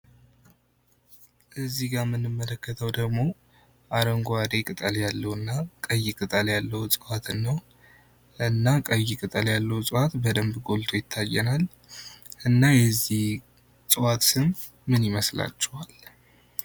እዚህ ጋር የምንመለከተው ደግሞ አረንጓዴ ቅጠል ያለው እና ቀይ ቅጠል ያለው እፅዋትን ነው። እና ቀይ ቅጠል ያለው እፅዋት በደንብ ጎልቶ ይታየናል። እና የዚህ እጽዋት ስም ምን ይመስላቸዋል?